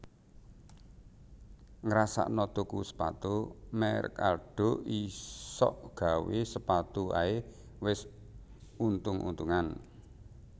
Ngrasakno tuku sepatu merk Aldo isok gawe sepatu ae wes untung untungan